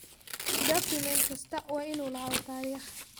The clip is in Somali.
Dukumeenti kastaa waa inuu lahaado taariikh.